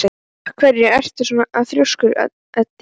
Af hverju ertu svona þrjóskur, Edil?